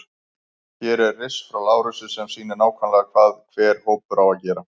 Hér er riss frá Lárusi sem sýnir nákvæmlega hvað hver hópur á að gera.